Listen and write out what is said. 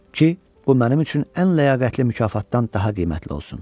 ki, bu mənim üçün ən ləyaqətli mükafatdan daha qiymətli olsun.